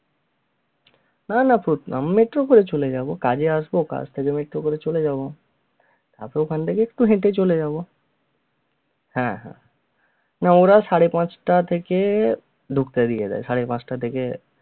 না না metro করে চলে যাবো কাজে আসবো কাজ থেকে metro করে চলে যাব তারপর ওখান থেকে একটু হেঁটে চলে যাব, হ্যা, হ্যা, না ওরাও সাড়ে পাঁচটা থেকে ঢুকতে দিয়ে দেয়, সাড়ে পাঁচটা থেকে